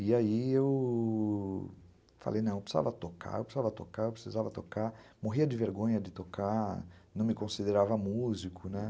E aí eu falei, não, eu precisava tocar, eu precisava tocar, eu precisava tocar, morria de vergonha de tocar, não me considerava músico, né?